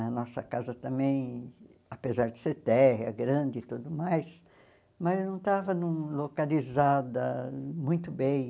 A nossa casa também, apesar de ser térrea, grande e tudo mais, mas não estava num localizada muito bem.